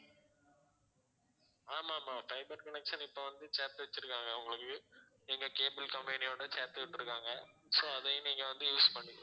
ஆமாம் ஆமாம் fiber connection இப்ப வந்து சேர்த்து வச்சிருக்காங்க உங்களுக்கு எங்க cable company யோட சேர்த்து விட்டிருக்காங்க so அதையும் நீங்க வந்து use பண்ணிக்கலாம்